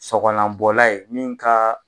Sɔgɔlanbɔla ye min kaa.